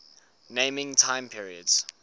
naming time periods